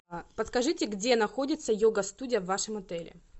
подскажите где находится йога студия в вашем отеле